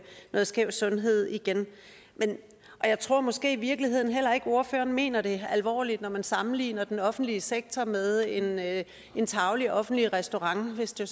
det skæve i sundheden igen og jeg tror måske i virkeligheden heller ikke ordføreren mener det alvorligt når man sammenligner den offentlige sektor med en med en tarvelig offentlig restaurant hvis det